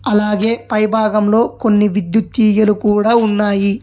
అలాగే పైభాగంలో కొన్ని విద్యుత్ తీగలు కూడా ఉన్నాయి.